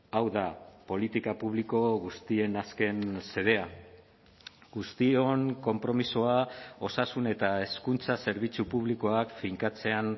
hau da politika publiko guztien azken xedea guztion konpromisoa osasun eta hezkuntza zerbitzu publikoak finkatzean